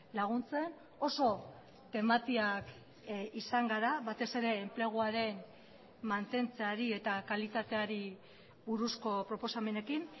laguntzen oso tematiak izan gara batez ere enpleguaren mantentzeari eta kalitateari buruzko proposamenekin